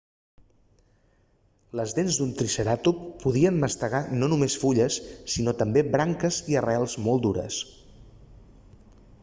les dents d'un triceratop podrien mastegar no només fulles sinó també branques i arrels molt dures